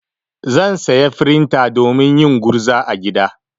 Zan saya frinta domin yin gurza a gida.